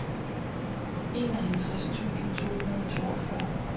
enoghalvtreds tusind to hundrede og toogfyrre